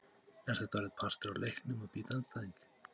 Er þetta orðið partur af leiknum að bíta andstæðing!?